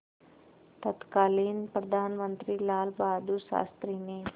तत्कालीन प्रधानमंत्री लालबहादुर शास्त्री ने